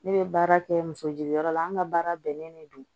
Ne bɛ baara kɛ musojigiyɔrɔ la an ka baara bɛnnen bɛ don